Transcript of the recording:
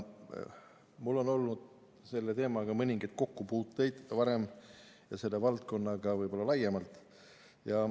Mul on olnud varem mõningaid kokkupuuteid selle teemaga ja selle valdkonnaga laiemalt.